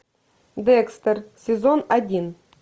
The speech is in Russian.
декстер сезон один